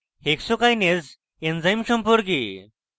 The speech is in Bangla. hexokinase এনজাইম সম্পর্কে